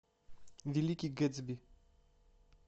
великий гэтсби